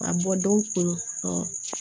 A bɔ dɔw tun